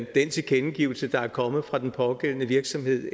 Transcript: den tilkendegivelse der er kommet fra den pågældende virksomhed